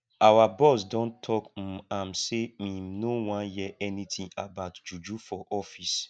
our boss don tok um am sey im no wan hear anytin about juju for office